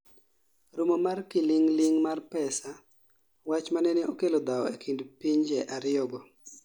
romo mar kiling'ling' mar pesa, wach manene okelo dhawo e kind pinje ariyo go